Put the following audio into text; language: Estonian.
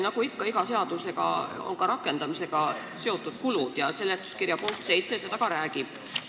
Nagu ikka, kaasnevad iga seadusega rakendamiskulud ja seletuskirja punkt 7 sellest ka räägib.